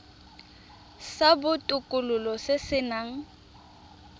sa botokololo se se nang